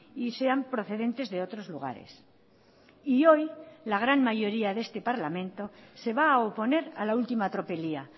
y sean procedentes de otros lugares y hoy la gran mayoría de este parlamento se va a oponer a la última tropelía